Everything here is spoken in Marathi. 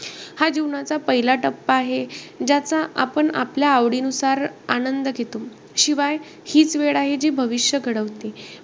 हा जीवनाचा पहिला टप्पा आहे, ज्याचा आपण आपल्या आवडीनुसार आनंद घेतो. शिवाय, हीच वेळ आहे जी भविष्य घडवते.